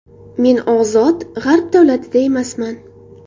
Men ozod g‘arb davlatida emasman.